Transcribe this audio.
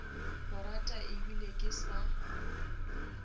go rata ebile ke sa